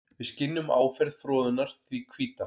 Við skynjum áferð froðunnar því hvíta.